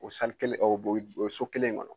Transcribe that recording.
O kelen o bon o so kelen in kɔnɔ